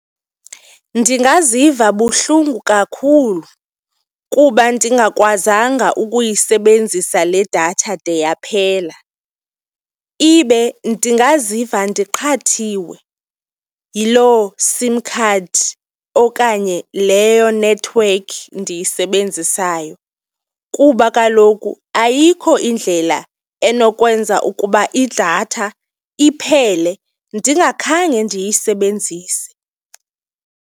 Ndingaziva buhlungu kakhulu kuba ndingakwazanga ukuyisebenzisa le datha de yaphela. Ibe ndingaziva ndiqhathiwe yiloo SIM card okanye leyo nethiwekhi ndiyisebenzisayo kuba kaloku ayikho indlela enokwenza ukuba idatha iphele ndingakhange ndiyisebenzise.